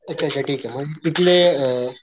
अच्छा अच्छा ठीके मग तिथले अ,